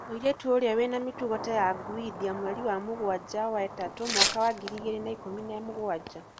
Mũirĩtu ũrĩa wĩna mĩtugo ta ya nũgũ, India, mweri mũgwanja wa mũthatũ mwaka wa ngiri igĩrĩ na ikũmi na mũgwanja